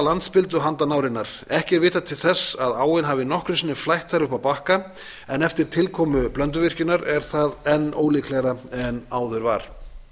landspildu handan árinnar ekki er vitað til þess að áin hafi nokkru sinni flætt þar upp á bakka en eftir tilkomu blönduvirkjunar er það enn ólíklegra en áður var